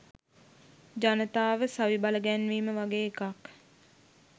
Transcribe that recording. "ජනතාව සවි බලගැන්වීම" වගේ එකක්.